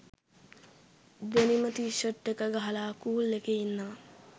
ඩෙනිම T shirt එක ගහලා cool එකේ ඉන්නවා.